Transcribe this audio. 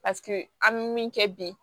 Paseke an bɛ min kɛ bi